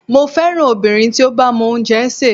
Mo féràn obìnrin tí ó bá mọ oúnjẹ sè.